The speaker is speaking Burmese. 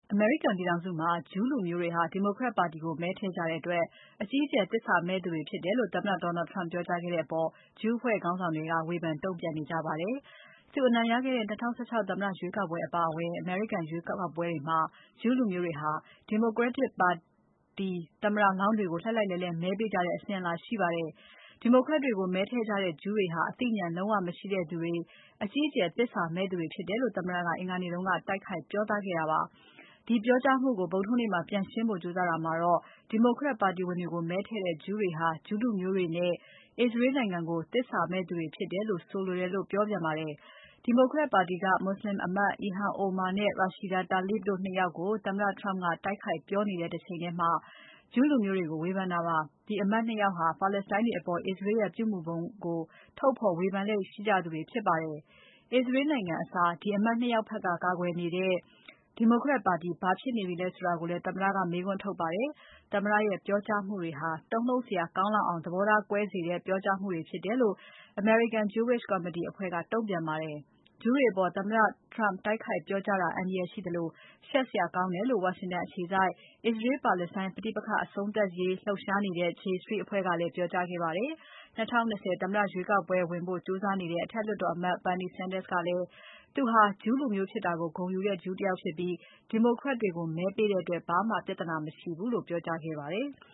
အမေရိကန်ပြည်ထောင်စုမှာ ဂျူးလူမျိုးတွေဟာ Democrat တွေကို မဲထည့်ကြတဲ့အတွက် အကြီးအကျယ်သစ္စာမဲ့ကြသူတွေဖြစ်တယ်လို့ သမ္မတ Donald Trump ကပြောကြားခဲ့တဲ့အပေါ် ဂျူးအဖွဲ့ခေါင်းဆောင်တွေက ဝေဖန်တုံ့ပြန်ခဲ့ကြပါတယ်။ သူအနိုင်ရခဲ့တဲ့ ၂၀၁၆ သမ္မတ ရွေးကောက်ပွဲအပါအဝင် အမေရိကန်ရွေးကောက်ပွဲတွေမှာ ဂျူးလူမျိုးတွေဟာ Democrat ပါတီသမ္မတလောင်းတွေကို လှိုက်လှိုက်လှဲလှဲ မဲပေးကြတဲ့ အစဉ်အလာရှိပါတယ်။ Democrat တွေကို မဲထည့်ကြတဲ့ ဂျူးတွေဟာ အသိဉာဏ်လုံးဝ မရှိသူတွေ၊ အကြီးအကျယ်သစ္စာမဲ့သူတွေဖြစ်တယ်လို့ သမ္မတက အင်္ဂါနေ့က တိုက်ခိုက်ပြောသားခဲ့တာပါ။ အဲဒီပြောကြားမှုကို ဗုဒ္ဓဟူးနေ့မှာ ပြန်ရှင်းဖို့ကြိုးစားတာမှာတော့ Democrat ပါတီဝင်တွေကို မဲထည့်တဲ့ ဂျူးတွေဟာ ဂျူးလူမျိုးတွေနဲ့ အစ္စရေးနိုင်ငံကို သစ္စာမဲ့သူတွေဖြစ်တယ်လို့ ဆိုလိုတာလို့ ပြောပါတယ်။ Democrat ပါတီက မွတ်ဆလင် အမတ် Ilhan Omar နဲ့ Rashida Tlaib တို့ ၂ ယောက်ကို သမ္မတ Trump က တိုက်ခိုက်ပြောနေတဲ့ တချိန်ထဲမှာ ဂျူးလူမျိုးတွေကို ဝေဖန်တာပါ။ ဒီအမတ် ၂ ယောက်ဟာ ပါလက်စတိုင်းတွေအပေါ် အစ္စရေးရဲ့ ပြုမူပုံကို ထုတ်ဖော်ဝေဖန်လေ့ရှိသူတွေဖြစ်ပါတယ်။ အစ္စရေးနိုင်ငံအစား ဒီအမတ် ၂ ယောက်ဖက်က ကာကွယ်နေတဲ့ Democrat ပါတီဘာဖြစ်နေပြီလဲလို့လည်း သမ္မတက မေးခွန်းထုတ်ပါတယ်။ သမ္မတရဲ့ ပြောကြားမှုတွေဟာ တုန်လှုပ်စရာကောင်းလောက်အောင် သဘောထားကွဲစေတဲ့ပြောကြားမှုဖြစ်တယ်လို့ American Jewish Committee ကတုံ့ပြန်ပါတယ်။ ဂျူးတွေအပေါ် သမ္မတ Trump တိုက်ခိုက်ပြောကြားတာ အန္တရာယ်ရှိသလို ရှက်စရာကောင်းတယ်လို့ ဝါရှင်တန်အခြေစိုက် အစ္စရေး-ပါလက်စတိုင်းပဋိပက္ခအဆုံးသတ်ရေး လှုပ်ရှားနေတဲ့ J Street အဖွဲ့ကလည်း ပြောကြားခဲ့ပါတယ်။ ၂၀၂၀ သမ္မတရွေးကောက်ပွဲဝင်ဖို့ ကြိုးစားနေတဲ့ အထက်လွှတ်တော်အမတ် Bernie Sanders ကလည်း သူဟာ ဂျူးလူမျိုးဖြစ်တာ ဂုဏ်ယူတဲ့ဂျူးဖြစ်တယ်၊ Democrat တွေကို မဲပေးတဲ့အပေါ် ဘာမှပြဿနာမရှိဘူးလို့ ပြောကြားခဲ့ပါတယ်။